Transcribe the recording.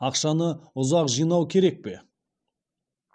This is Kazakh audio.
ақшаны ұзақ жинау керек пе